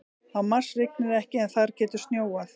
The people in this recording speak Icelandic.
Á Mars rignir ekki en þar getur snjóað.